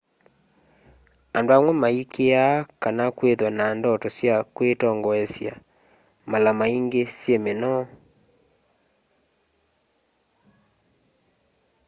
andu amwe maikiiaa kana kwithwa na ndoto sya kwitongoesya mala maingi syi minoo